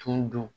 Tun don